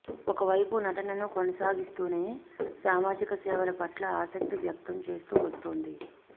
ఒకవైపు నటనను కొనసాగిస్తూనే సామాజిక సేవల పట్ల ఆసక్తిని వ్యక్తం చేస్తూ వస్తోంది